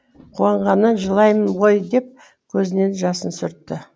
қуанғаннан жылаймын ғой деп көзінің жасын сүртті